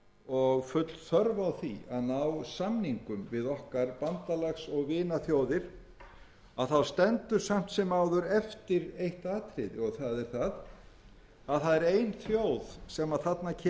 og full þörf á því að ná samningum við okkar bandalags og vinaþjóðir stendur samt sem áður eftir eitt atriði og það er það að það er ein þjóð sem þarna kemur að málum og verulega að